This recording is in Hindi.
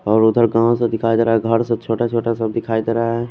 और उदर गाव का दिखाई देरा है गर सब छोटा छोटा सा दिखाई देरा है।